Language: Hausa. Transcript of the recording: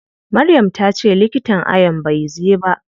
Maryam tace likitan ayon bai zai ba.